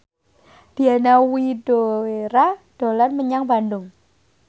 Diana Widoera dolan menyang Bandung